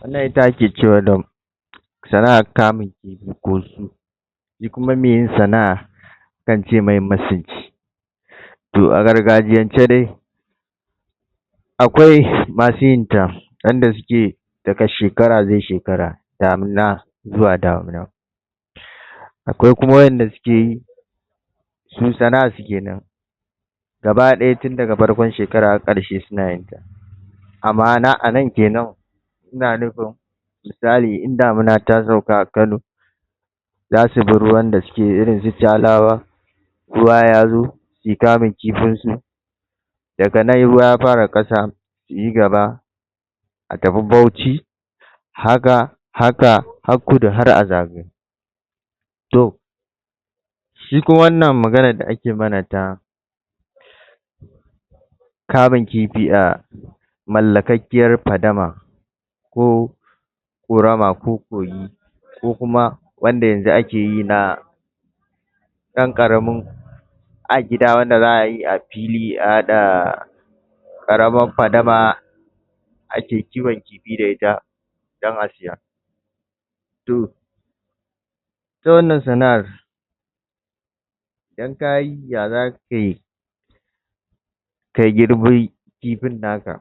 wannan ita ake cewa da sana'a kamun kifi ko su ni kuma mai yin sanar zan cemai ma sinci to a gargaciyance dai akwai masu yin ta wanda suke da ga shekara sai shekara, damuna zuwa damuna akwai kuma wayan da suke yi su sana'an su kenan gaba daya tun daga farkon shekara har karshe suna yinta amma anan kenan ina nufin musali in damuna ta sauka a kano za su bi ruwan da yake irin su tsalawa ruwa yazo sui kamun kifin su da ga nan in ruwa ya fara kasa su yi gaba a tafi Bauchi haka, haka har kudu har a zagayo to shi kuma wan nan maganan da ake mana ta kamun kifi um mallakakkiyan fadama ko korama ko gogi ko kuma wanda yanzu akeyi na dan karamin a gida wan da zaayi a fili a hada karamar fadama a ke kiwon kifi da ita dan a saya to ita wan nan sana'ar in kayi ya zaka yi ka girbi kifin naka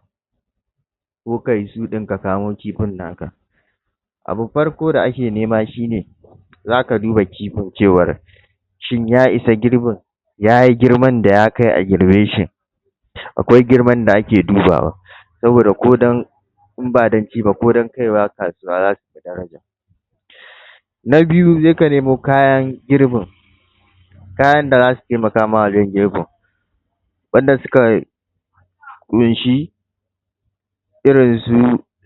ko kayi su din ka kamo kifin naka abun farko da ake nema shine za ka duba kifin cewar shin ya isa girbin ya yi girman da ya kai a girbeshi akwai girman da ake dubawa sabo da kodan in ba dan ciba kodan kaiwa kasuwa daraja na biyu sai ka nemo kayan girbin kayan da zasu taiimakama wajen girbin wanda suka kunshi irin su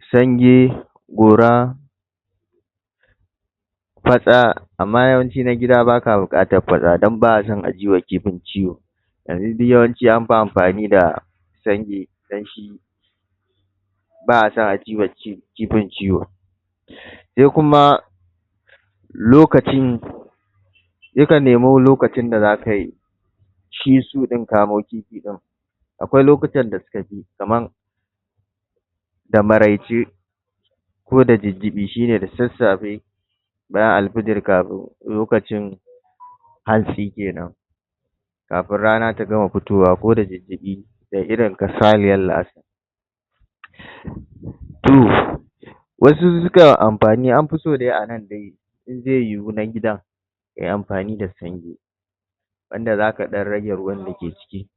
sange, gora, fatsa amma yauwanci na gida baka bukatan fatsa don ba'aso ajiyewa kifin ciwo yanzu duk yawanci an fi anfani da sange dan shi ba a so a jiwa kifin ciwo sai kuma lokacin yakan nemi lokacin da zakayi shi su din kamo kifin akwai lokutan da suka je, kaman da maraice ko da jijjibi shine da sassafe bayan alfajir kafin lokacin hantsi kenan kafin rana ta gama fitowa koda diddibi sai irin kasaniyar la'asar, to wasu sukan anfani anfi, an fi so anan dai in zai yi hu na gidan yayi anfani da sange wanda zaka dan rage ruwan da ke ciki.